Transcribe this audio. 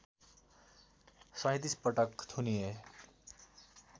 ३७ पटक थुनिए